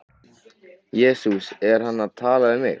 Jesús er hann að tala við mig?